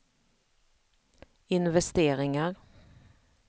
investeringar